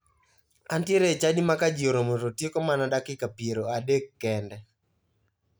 Antiere e chadi ma ka ji oromo to tieko mana dakika piero adek kende.